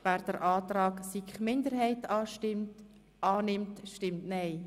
wer den Antrag der SiK-Minderheit annehmen will, stimmt nein.